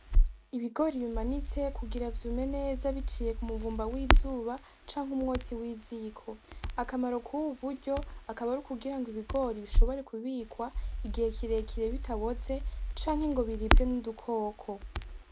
Ibigori bimanitse kugira vyume neza biciye ku muvumba w'izuba canke umwotsi w'iziko akamaro kubu buryo akaba ari ukugirango ibigori bishobore kubikwa igihe kirekire bitaboze canke ngo biribwe n'udukoko.